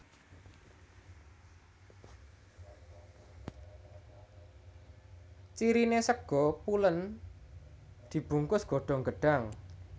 Cirine sega pulen dibungkus godhong gedhang